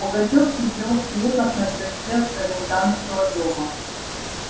пугачёв сидел в креслах на крыльце комендантского дома